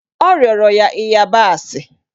O rịọrọ ya ịyabasị